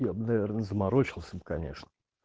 я бы наверное заморочился конечно